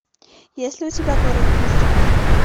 есть ли у тебя город призраков